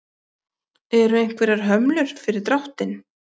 Eru einhverjar hömlur fyrir dráttinn?